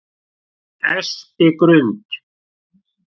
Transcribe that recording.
Espigrund